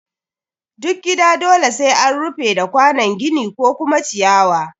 Duk gida dole sai an rufe da kwanon gini ko kuma ciyawa